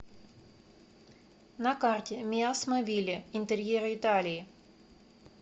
на карте миасмобили интерьеры италии